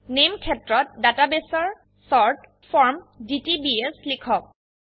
নামে ক্ষেত্ৰত ডাটাবেসৰ শৰ্ট ফৰ্ম ডিটিবিএছ লিখক